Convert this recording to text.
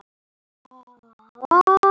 Svönu frænku minni.